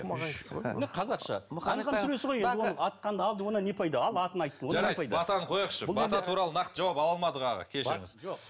қазақша не пайда ал атын айттым жарайды батаны қояйықшы бата туралы нақты жауап ала алмадық аға кешіріңіз